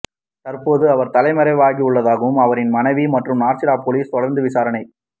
தற்போது அவர் தலைமறைவாகியுள்ளதாகவும் அவரின் மனைவி மற்றும் நர்சிடம் பொலிசார் தொடர்ந்து விசாரணை